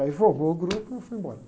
Aí formou o grupo e eu fui embora.